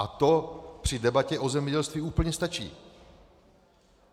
A to při debatě o zemědělství úplně stačí.